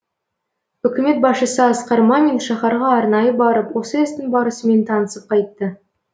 үкімет басшысы асқар мамин шаһарға арнайы барып осы істің барысымен танысып қайтты